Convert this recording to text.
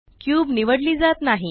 cube निवडली जात नाही